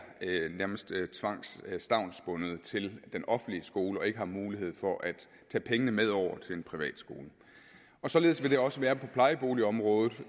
stavnsbundet til den offentlige skole og ikke har mulighed for at tage pengene med over til en privat skole således vil det også være på plejeboligområdet